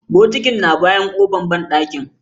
Bokitin na bayan kofan banɗakin.